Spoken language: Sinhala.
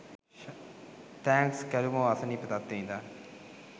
තැන්ක්ස් කැලුමෝ අසනීප තත්වයේ ඉදන්